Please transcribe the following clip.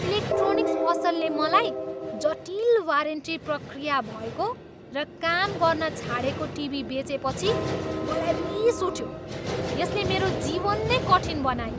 Electronics पसलले मलाई जटिल वारेन्टी प्रक्रिया भएको र काम गर्न छाडेको टिभी बेचेपछि मलाई रिस उठ्यो, यसले मेरो जीवन नै कठिन बनायो।